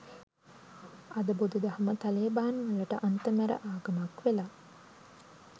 අද බුදුදහම තලේබාන්වලට අන්ත මැර ආගමක් වෙලා